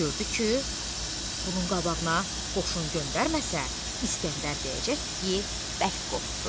Gördü ki, bunun qabağına qoşun göndərməsə, İskəndər deyəcək ki, bəlk qorxdu.